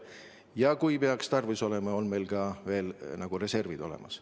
Ja kui peaks tarvis olema, on meil ka reserv olemas.